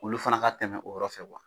Olu fana ka tɛmɛ o yɔrɔ fɛ